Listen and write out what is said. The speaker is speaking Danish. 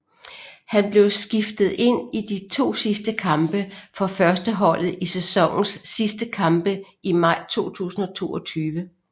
Han blev skiftet ind i de to sidste kampe for førsteholdet i sæsonens sidste kampe i maj 2022